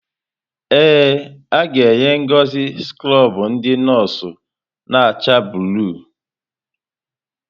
Ee, aga-enye Ngozi skrọbụ ndị nọọsụ na-acha blụu.